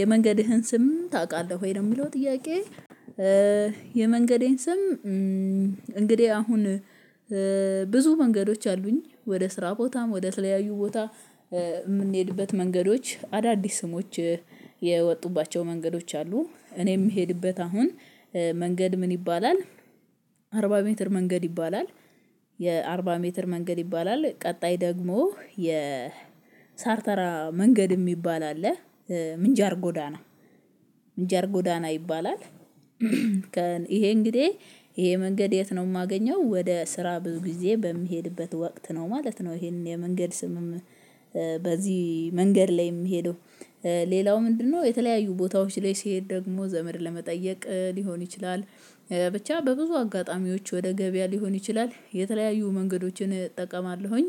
የመንገድህን ስም ታውቃለህ ወይ ነው ለሚለው ጥያቄ የመንገዴን ስም እንግዲህ አሁን ብዙ መንገዶች አሉኝ ወደ ስራ ቦታም ወደ ተለያዩ ቦታ የምንሄድበት መንገዶች አዳዲስ ስሞች የወጡባቸው መንገዶች አሉ እኔ የምሄድበት አሁን መንገድ ምን ይባላል አርባ ሜትር መንገድ ይባላል የአርባ ሜትር መንገድ ይባላል ቀጣይ ደግሞ የ ሳርተራ መንገድ የሚባል አለ ምንጃር ጎዳና ምንጃር ጎዳና ይባላል ይሄ እንግዲህ ይሄ መንገድ የት ነው የማገኘው ወደ ስራ ብዙ ጊዜ በሚሄድበት ወቅት ነው ማለት ነው ይሄን የመንገድ ስምም በዚህ መንገድ ላይ የምሄደው ሌላው ምንድነው የተለያዩ ቦታዎች ላይ ስሄድ ደግሞ ዘመድ ለመጠየቅ ሊሆን ይችላል፤ ብቻ በብዙ አጋጣሚዎች ወደ ገበያ ሊሆን ይችላል የተለያዩ መንገዶችን እጠቀማለሁኝ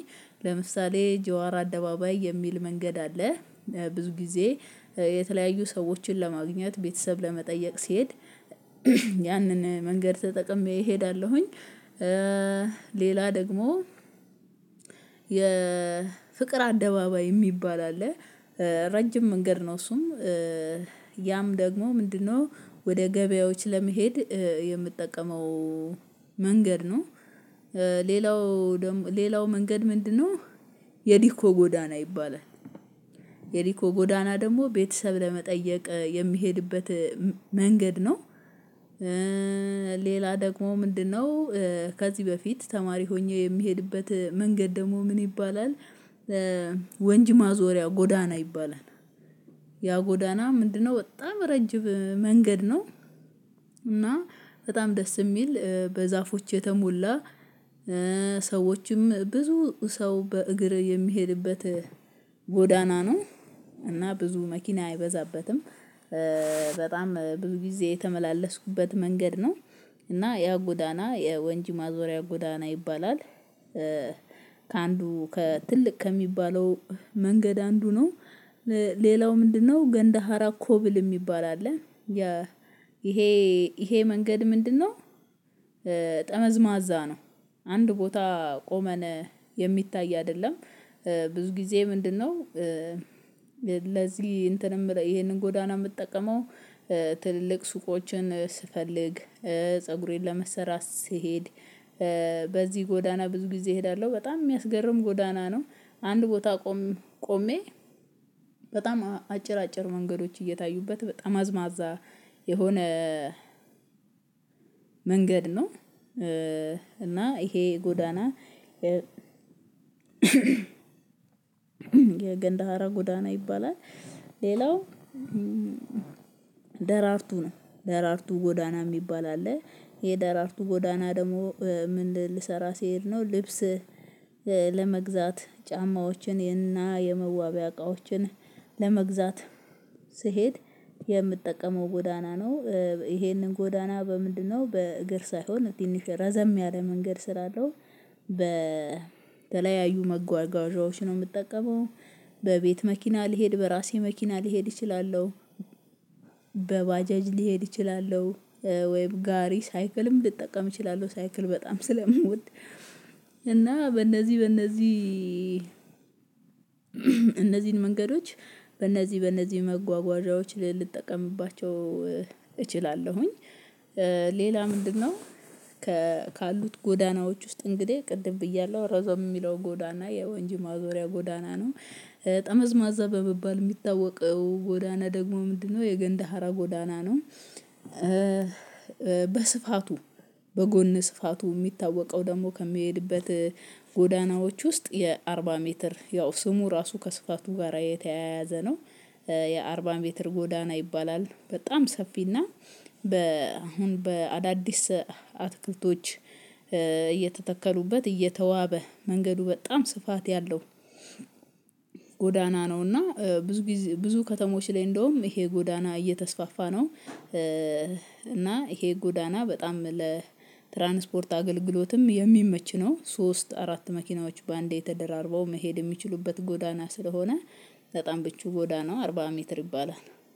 ለምሳሌ ጀዋር አደባባይ የሚል መንገድ አለ ብዙ ጊዜ የተለያዩ ሰዎችን ለማግኘት ቤተሰብ ለመጠየቅ ስሄድ ያንን መንገድ ተጠቅሜ እሄዳለሁኝ ሌላ ደግሞ የፍቅር አደባባይ የሚባል አለ ረጅም መንገድ ነው እሱም ያም ደግሞ ምንድነው ወደ ገበያዎች ለመሄድ የምጠቀመው መንገድ ነው ሌላው ደግሞ ሌላው መንገድ ምንድነው የዲኮ ጎዳና ይባላል የዲኮ ጎዳና ደግሞ ቤተሰብ ለመጠየቅ የሚሄድበት መንገድ ነው ሌላ ደግሞ ምንድነው ከዚህ በፊት ተማሪ ሆኜ የምሄድበት መንገድ ደግሞ ምን ይባላል ወንጅ ማዞሪያ ጎዳና ይባላል ያ ጎዳና ምንድነው በጣም ረጅም መንገድ ነው እና በጣም ደስ የሚል በዛፎች የተሞላ ሰዎችም ብዙ ሰው በእግር የሚሄድበት ጎዳና ነው እና ብዙ መኪና አይበዛበትም በጣም ብዙ ጊዜ የተመላለስኩበት መንገድ ነው እና ያ ጎዳና የወንጂ ማዞሪያ ጎዳና ይባላል፤ ከአንዱ ከትልቅ ከሚባለው መንገድ አንዱ ነው ሌላው ምንድነው ገንደ ሀራ ኮብል የሚባል አለ ይሄ ይሄ መንገድ ምንድነው ጠመዝማዛ ነው አንድ ቦታ ቆመን የሚታይ አይደለም ብዙ ጊዜ ምንድነው ለዚህ እንትን የምለው ይሄንን ጎዳና የምትጠቀመው ትልልቅ ሱቆችን ስፈልግ ፀጉሬን ለመስራት ስሄድ በዚህ ጎዳና ብዙ ጊዜ እሄዳለሁ በጣም የሚያስገርም ጎዳና ነው አንድ ቦታ ቆሜ በጣም አጭር አጭር መንገዶች እየታዩበት ጠመዝማዛ የሆነ መንገድ ነው እና ይሄ ጎዳና የገንዳሃራ ጎዳና ይባላል ሌላው ደራርቱ ነው ደራርቱ ጎዳና የሚባል አለ የደራርቱ ጎዳና ደግሞ ምን ልሰራ ሲሄድ ነው ልብስ ለመግዛት ጫማዎችን ይሄንና የመዋቢያ እቃዎችን ለመግዛት ስሄድ የምጠቀመው ጎዳና ነው ይሄንን ጎዳና በምንድነው በእግር ሳይሆን ትንሽ ረዘም ያለ መንገድ ስላለው በተለያዩ መጓዣዎች ነው የምጠቀመው በቤት መኪና ልሄድ በራሴ መኪና ልሄድ እችላለሁ በባጃጅ ልሄድ ይችላለሁ ወይም ጋሪ ሳይክልም ልጠቀም እችላለው ሳይክል በጣም ስለምወድ እና በእነዚህ በእነዚህ እነዚህን መንገዶች በእነዚህ በእነዚህ መጓጓዣዎች ልጠቀምባቸው እችላለሁኝ ሌላ ምንድነው ካሉት ጎዳናዎች ውስጥ እንግዲህ ቅድም ብያለሁ ረዘም የሚለው ጎዳና የወንጅ ማዞሪያ ጎዳና ነው ጠመዝማዛ በሚባል የሚታወቀው ጎዳና ደግሞ ምንድነው የገንደ ሀራ ጎዳና ነው በስፋቱ በጎን ስፋቱ የሚታወቀው ደግሞ ከምሄድበት ጎዳናዎች ውስጥ የአርባ ሜትር ያው ስሙ ራሱ ከስፋቱ ጋራ የተያያዘ ነው የአርባ ሜትር ጎዳና ይባላል በጣም ሰፊና በ አሁን በአዳዲስ አትክልቶች እየተተከሉበት እየተዋበ መንገዱ በጣም ስፋት ያለው ጎዳና ነው እና ብዙ ብዙ ከተሞች ላይ እንደውም ይሄ ጎዳና እየተስፋፋ ነው እና ይሄ ጎዳና በጣም ለትራንስፖርት አገልግሎትም የሚመች ነው ሶስት አራት መኪናዎች በአንዴ ተደራርበው መሄድ የሚችሉበት ጎዳና ስለሆነ በጣም ምቹ ጎዳናው አርባ ሜትር ይባላል።